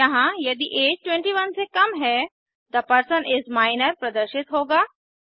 यहाँ यदि ऐज 21 से कम है थे पर्सन इस माइनर प्रदर्शित होगा